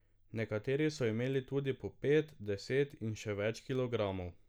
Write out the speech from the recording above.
Nekateri so imeli tudi po pet, deset in še več kilogramov.